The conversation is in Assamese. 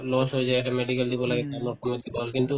loss হৈ যায় লাগে কামৰ সময়ত কিবা হল কিন্তু